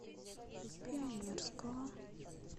пионерского